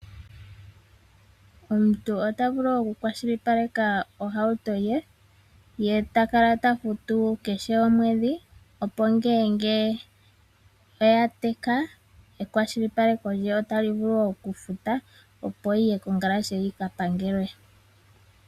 Omuntu otavulu oku kwashilipaleka ohauto ye ,ye takala tafutu kehe omwedhi opo ngele oya teka ekwashilipaleko lye otali vulu oku futa opo yiye kongalashe yi kapangelwe.